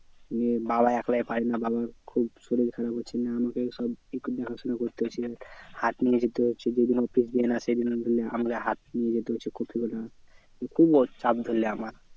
নিয়ে বাবা একলা পারে না বাবার খুব শরির খারাপ হচ্ছে নিয়ে আমাকে সব একটু দেখাশোনা করতে হচ্ছে। হাট নিয়ে যেতে হচ্ছে বিভিন্ন হাট নিয়ে যেতে হচ্ছে কপি গুলা খুব ধরেনে আমার